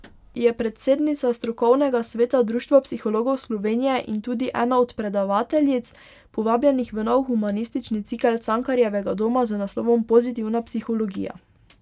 Je predsednica strokovnega sveta Društva psihologov Slovenije in tudi ena od predavateljic, povabljenih v nov humanistični cikel Cankarjevega doma z naslovom Pozitivna psihologija.